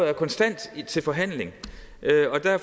er konstant til forhandling